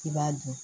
I b'a dun